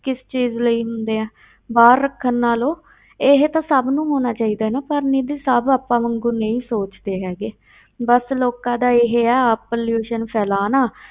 ਕਿਸ ਚੀਜ਼ ਲਈ ਹੁੰਦੇ ਆ, ਬਾਹਰ ਰੱਖਣ ਨਾਲੋਂ ਇਹ ਤਾਂ ਸਭ ਨੂੰ ਹੋਣਾ ਚਾਹੀਦਾ ਨਾ, ਪਰ ਨਿੱਧੀ ਸਭ ਆਪਾਂ ਵਾਂਗੂ ਨਹੀਂ ਸੋਚਦੇ ਹੈਗੇ ਬਸ ਲੋਕਾਂ ਦਾ ਇਹ ਆ ਆਪ pollution ਫੈਲਾਉਣਾ,